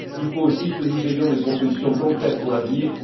Il faut aussi que nous ayons des propositions concrètes pour l'avenir.